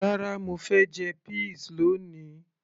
rárá, mo fẹ́ jẹ peas lóni